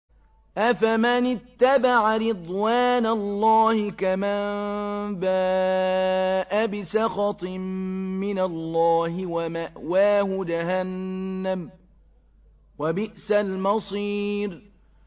أَفَمَنِ اتَّبَعَ رِضْوَانَ اللَّهِ كَمَن بَاءَ بِسَخَطٍ مِّنَ اللَّهِ وَمَأْوَاهُ جَهَنَّمُ ۚ وَبِئْسَ الْمَصِيرُ